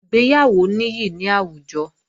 Ìgbéyàwó níyì ní àwùjọ